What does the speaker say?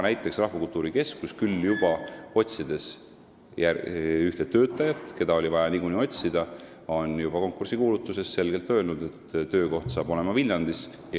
Aga Rahvakultuuri Keskus on näiteks oma konkursikuulutuses – ta otsib ühte töötajat, keda oli niikuinii vaja – juba selgelt öelnud, et töökoht hakkab olema Viljandis.